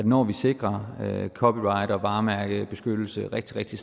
når vi sikrer copyright og varemærkebeskyttelse rigtig rigtig